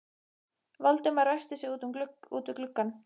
Valdimar ræskti sig úti við gluggann.